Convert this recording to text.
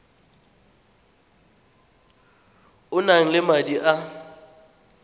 o nang le madi a